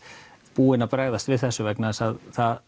búin að bregðast við þessu vegna þess að